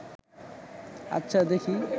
আচ্ছা, দেখি